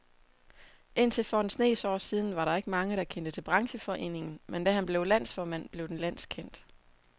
Indtil for en snes år siden var der ikke mange, der kendte til brancheforeningen, men da han blev landsformand, blev den landskendt.